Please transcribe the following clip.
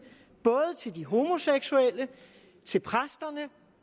både til de homoseksuelle til præsterne